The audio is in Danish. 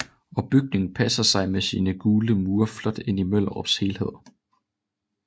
Og bygningen passer sig med sine gule mure flot ind i Møllerups helhed